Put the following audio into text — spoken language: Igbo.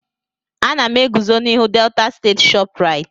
Ana m eguzo n'ihu Delta state Shoprite.